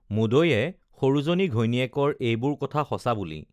মুদৈয়ে সৰুজনী ঘৈণীয়েকৰ এইবোৰ কথা সঁচা বুলি